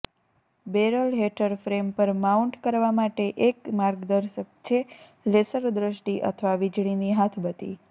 barrel હેઠળ frame પર mount કરવા માટે એક માર્ગદર્શક છે લેસર દૃષ્ટિ અથવા વીજળીની હાથબત્તી